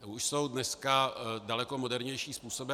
Už jsou dneska daleko modernější způsoby.